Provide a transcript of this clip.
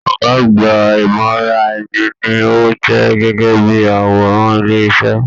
Ọgá àgbà imọraẹ̀ni ní o jẹ gẹgẹ bíi àwòrán ilé iṣẹ.